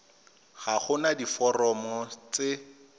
ga go na diforomo tse